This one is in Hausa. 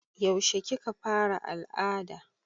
Yaushe kika fara al'ada?